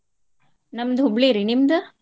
ನಮ್ದ ಹುಬ್ಳಿ ರಿ ನಿಮ್ದ?